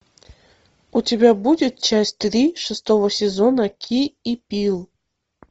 у тебя будет часть три шестого сезона ки и пил